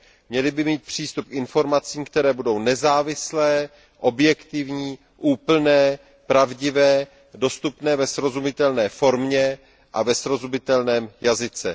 Měli by mít přístup k informacím, které budou nezávislé, objektivní, úplné, pravdivé, dostupné ve srozumitelné formě a ve srozumitelném jazyce.